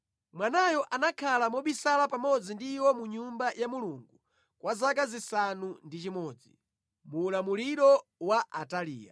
Mwanayo anakhala mobisala pamodzi ndi iwo mu Nyumba ya Mulungu kwa zaka zisanu ndi chimodzi muulamuliro wa Ataliya.